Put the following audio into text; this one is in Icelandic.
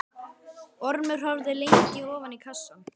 Ormur horfði lengi ofan í kassann.